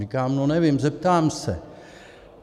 Říkám: No nevím, zeptám se.